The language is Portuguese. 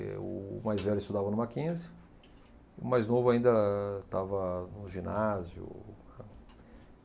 É o o mais velho estudava no Mackenzie, e o mais novo ainda estava no ginásio.